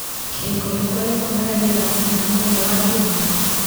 kĩrĩko gĩakwa gĩa kwonana nĩ thaa cigana mũthenya wa njuma